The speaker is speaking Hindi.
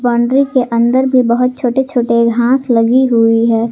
बाउंड्री के अंदर भी बहोत छोटे छोटे घास लगी हुई है।